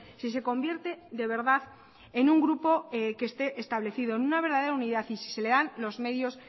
si se convierte de verdad en un grupo que esté establecido en una verdadera unidad y si se le dan los medios